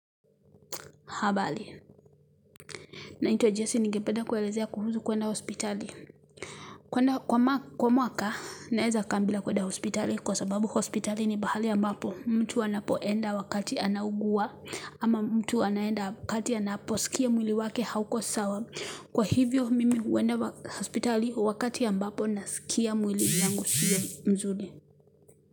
Habali naitwa Jessi nigependa kuelezea kuhusu kwenda hospitali kwa mwaka naeza kaa bila kwenda hospitali kwa sababu hospitali ni bahali ambapo mtu anapoenda wakati anaugua ama mtu anaenda wakati anapo sikia mwili wake hauko sawa kwa hivyo mimi uenda hospitali wakati ambapo nasikia mwili yangu siyo mzuri.